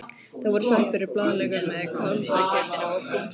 Það voru sveppir og blaðlaukur með kálfakjötinu og brún sósa.